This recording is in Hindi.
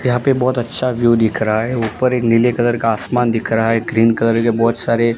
यहां पे बहोत अच्छा व्यु दिख रहा है ऊपर एक नीले कलर का आसमान दिख रहा है ग्रीन कलर के बहोत सारे--